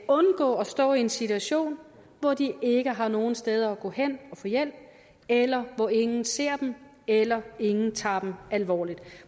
stå i en situation hvor de ikke har nogen steder at gå hen og få hjælp eller hvor ingen ser dem eller hvor ingen tager dem alvorligt